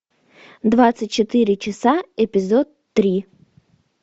двадцать четыре часа эпизод три